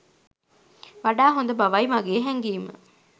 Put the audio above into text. වඩා හොද බවයි මගේ හැගීම.